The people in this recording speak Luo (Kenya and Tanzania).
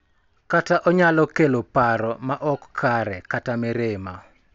Kata onyalo kelo paro ma ok kare, kata mirima.